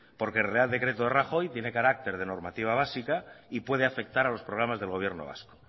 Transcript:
porque el real decreto de rajoy tiene carácter de normativa básica y puede afectar a los programas del gobierno vasco